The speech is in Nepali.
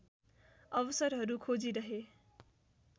अवसरहरू खोजिरहे